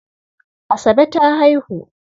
Asabe ta haihu.